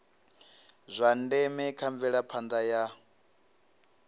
zwa ndeme kha mvelaphanda ya